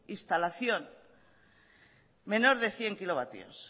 instalación menor de cien kilovatios